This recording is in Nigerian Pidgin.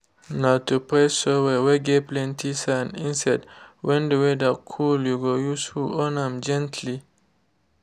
no too press soil whey get plenty sand instead when the weather cool you go use hoe on am gently.